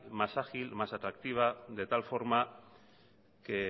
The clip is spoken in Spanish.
más ágil más atractiva de tal forma que